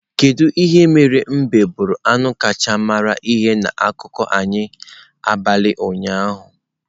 Kedu ihe mere mbe bụrụ anụ kacha mara ihe na akụkọ anyị n'abalị ụnyaahụ?